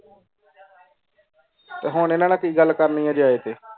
ਤੇ ਹੁਣ ਐਨਾ ਨਾਲ ਕਿ ਗੱਲ ਕਰਨੀ ਜੇ ਆਏ ਤੇ